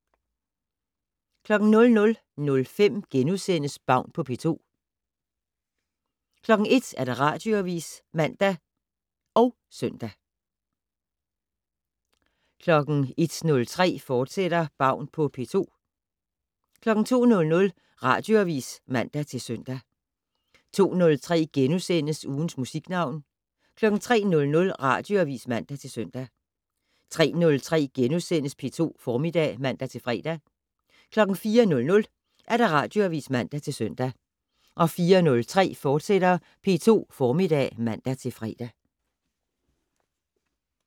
00:05: Baun på P2 * 01:00: Radioavis (man og søn) 01:03: Baun på P2, fortsat 02:00: Radioavis (man-søn) 02:03: Ugens Musiknavn * 03:00: Radioavis (man-søn) 03:03: P2 Formiddag *(man-fre) 04:00: Radioavis (man-søn) 04:03: P2 Formiddag *(man-fre)